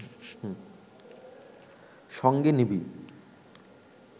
সঙ্গে নিবি